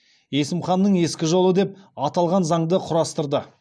есім ханның ескі жолы деп аталған заңды құрастырды